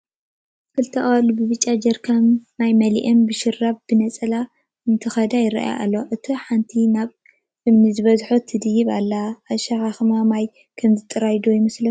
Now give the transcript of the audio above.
ክልተ ኣዋልድ ብብጫ ጀሪካን ማይ መሊአን ብሻርብ ብነፀላ እንትኸዳ ይረኣያ ኣለዋ፡፡ እታ ሓንቲ ናብ ኣእማን ዝበዝሖ ትድይብ ኣላ፡፡ ኣሸኻኽማ ማይ ከምዚ ጥራሕ ዶ ይመስለኩም?